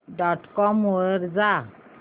dot com वर जा